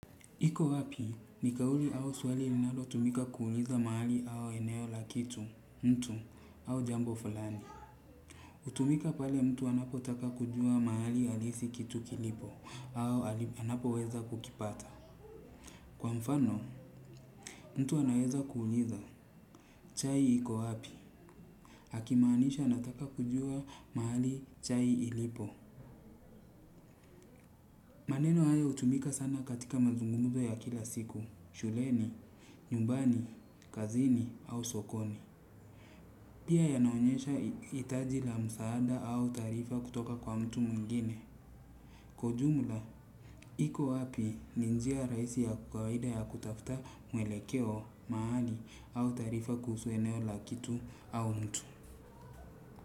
Iko wapi, ni kauli au swali linalo tumika kuuliza mahali au eneo la kitu, mtu, au jambo fulani. Hutumika pale mtu anapotaka kujua mahali halisi kitu kilipo au anapoweza kukipata. Kwa mfano mtu anaweza kuuliza chai iko wapi. Akimaanisha anataka kujua mahali chai ilipo. Maneno haya hutumika sana katika mazungumzo ya kila siku, shuleni, nyumbani, kazini au sokoni. Pia yanaonyesha hitaji la msaada au taarifa kutoka kwa mtu mwingine. Kwa ujumla, iko wapi ni njia rahisi ya kawaida ya kutafta mwelekeo mahali au taarifa kuhusu eneo la kitu au mtu.